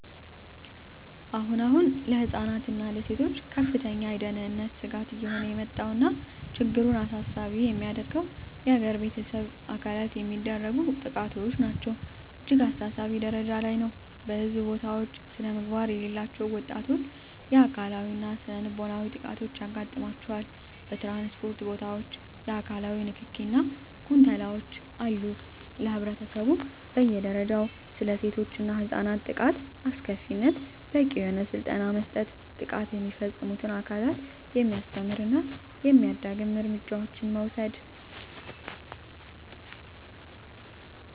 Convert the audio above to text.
አሁን አሁን ለህፃናት እና ለሴቶች ከፍተኛ የደህንነት ስጋት እየሆነ የመጣው ነገር እና ችግሩን አሳሳቢ የሚያደርገው የገር በቤተሰብ አካል የሚደረጉ ጥቃቶች ናቸው እጅግ አሳሳቢ ጀረጃ ላይ ነው በህዝብ ቦታውች ስነምግባር የሌላቸው ወጣቶች የአካላዊ እና ስነልቦናዊ ጥቃቶች ያጋጥማቸዋል በትራንስፖርት ቦታወች የአካላዊ ንክኪ እና ጉንተላወች አሉ ለህብረተሰቡ በየ ደረጃው ስለሴቶች እና ህፃናት ጥቃት አስከፊነት በቂ የሆነ ስልጠና መስጠት ጥቃት የሚፈፅሙትን አካላት የሚያስተምር እና የማያዳግም እርምጃዎችን መውሰድ።